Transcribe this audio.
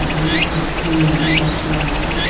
এখানে একটি মেয়ে বসে আছে।